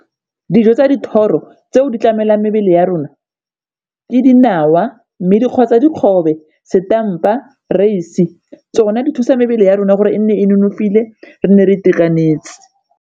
Dijo tsa dithoro tseo di tlamelang mebele ya rona ke dinawa, mme dikgobe, setampa, tsona di thusa mebele ya rona gore e nne e nonofile re nne re itekanetse.